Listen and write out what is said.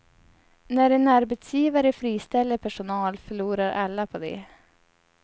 När en arbetsgivare friställer personal förlorar alla på det.